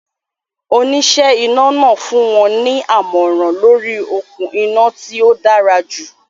Oníṣẹ́ iná náà fún wọn ní àmọ̀ràn lóríi okún iná tí ó dára jù